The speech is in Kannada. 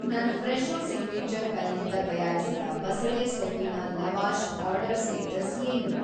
ನನ್‌ ಫ್ರೆಶೊ ಸಿಗ್ನೇಚರ್ ಕೈಯಿಂದ ತಯಾರಿಸಿದ ‌ಬಸಳೆ ಸೊಪ್ಪಿನ ಲವಾಷ್ ಆರ್ಡರ್‌ ಸ್ಟೇಟಸ್‌ ಏನು?